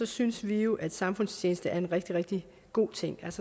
synes vi jo at samfundstjeneste er en rigtig rigtig god ting